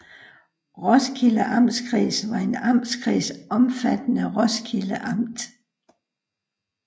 Roskilde Amtskreds var en amtskreds omfattende Roskilde Amt